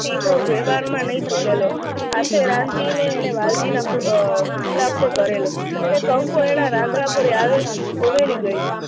ટીહો વ્યવહારમાં નહી ચુકેલો. હાથે રામજીને એણે વાલજીના અર ખુલાસો કરેલો ને કંકુ એના આંગણા પરે આવી ગયી